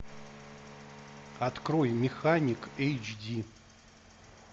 открой механик эйч ди